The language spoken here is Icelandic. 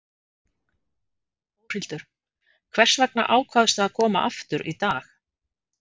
Þórhildur: Hvers vegna ákvaðstu að koma aftur í dag?